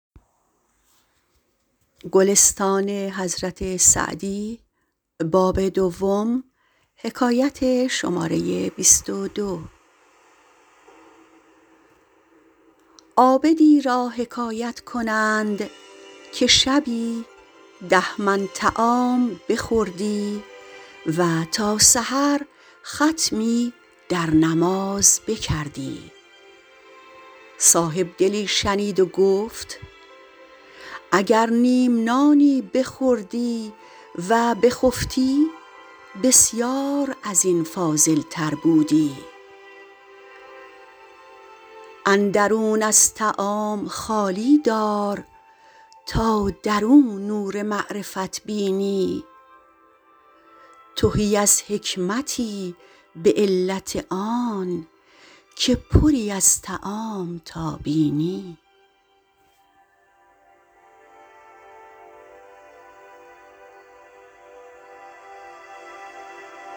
عابدی را حکایت کنند که شبی ده من طعام بخوردی و تا سحر ختمی در نماز بکردی صاحبدلی شنید و گفت اگر نیم نانی بخوردی و بخفتی بسیار از این فاضل تر بودی اندرون از طعام خالی دار تا در او نور معرفت بینی تهی از حکمتی به علت آن که پری از طعام تا بینی